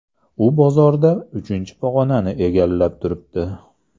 U bozorda uchinchi pog‘onani egallab turibdi.